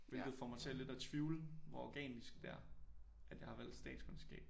Hvilket for mig til lidt at tvivle hvor organisk det er at jeg har valgt statskundskab